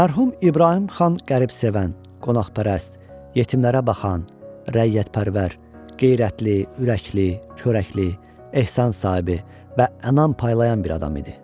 Mərhum İbrahim xan qəribsevən, qonaqpərvər, yetimlərə baxan, rəiyyətpərvər, qeyrətli, ürəkli, çörəkli, ehsan sahibi və ənam paylayan bir adam idi.